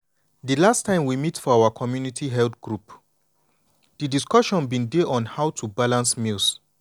di last time we meet for our community health group di discussion bin dey on how to balance meals.